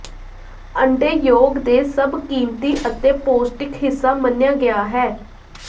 ਅੰਡੇ ਯੋਕ ਦੇ ਸਭ ਕੀਮਤੀ ਅਤੇ ਪੌਸ਼ਟਿਕ ਹਿੱਸਾ ਮੰਨਿਆ ਗਿਆ ਹੈ